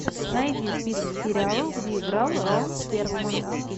найди список сериалов где играл рон перлман